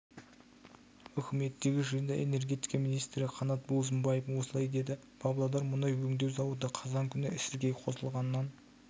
үкіметтегі жиында энергетика министрі қанат бозымбаев осылай деді павлодар мұнай өңдеу зауыты қазан күні іске қосылғаннан